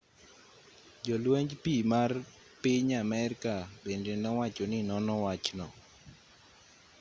jolwenj pii ma piny amerka bende nowacho ni nono wachno